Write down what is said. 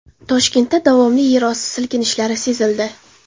Toshkentda davomli yerosti silkinishlari sezildi .